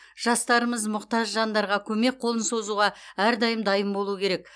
жастарымыз мұқтаж жандарға көмек қолын созуға әрдайым дайын болуы керек